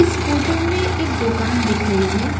इस फोटो में एक दुकान दिख रही है।